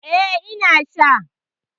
Eh, ina sha